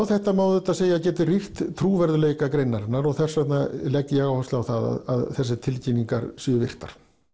þetta má auðvitað segja geti rýrt trúverðugleika greinarinnar og þess vegna legg ég áherslu á það að þessar tilkynningar séu virtar